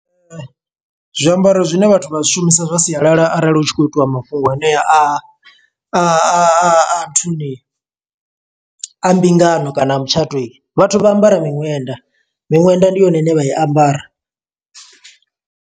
Zwiambaro zwine vhathu vha zwi shumisa zwa sialala arali hu tshi khou itiwa mafhungo anea a a nthuni. A mbingano kana a mutshato, vhathu vha ambara miṅwenda. Miṅwenda ndi yone ine vha i ambara.